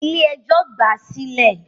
Ilé ẹjọ́ gbà á sílẹ̀